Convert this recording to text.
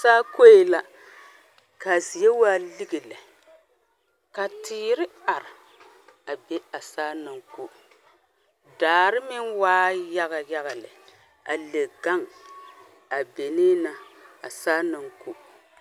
Saa koee la ka zie waa lige lɛ ka teere are a be a saa naŋ ko daare meŋ waa yaga yaga lɛ a le gaŋ a benee ba a saa naŋ ko.